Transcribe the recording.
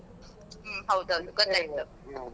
ಹ್ಮ್ ಹೌದ್ ಹೌದು ಗೊತ್ತಾಯ್ತು .